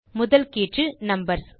முதல் கீற்று நம்பர்ஸ்